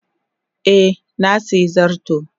Eh, na sayi zarto.